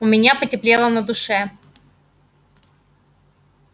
у меня потеплело на душе